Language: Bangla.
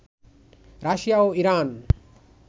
রাশিয়া ও ইরান